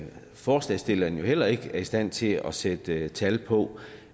forslagsstillerne jo heller ikke er i stand til at sætte tal på